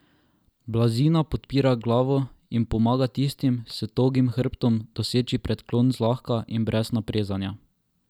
Blazina podpira glavo in pomaga tistim s togim hrbtom doseči predklon zlahka in brez naprezanja.